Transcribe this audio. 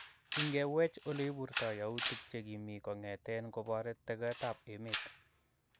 Ingewech oleipurtoo yautik chekimii kongeten kopore togetap emeet